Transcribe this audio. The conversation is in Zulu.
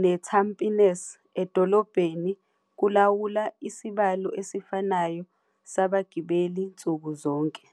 neTampines edolobheni kulawula isibalo esifanayo sabagibeli nsuku zonke.